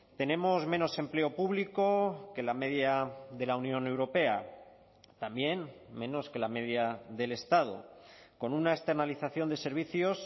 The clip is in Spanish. tenemos menos empleo público que la media de la unión europea también menos que la media del estado con una externalización de servicios